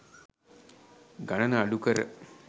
ගනන අඩුකර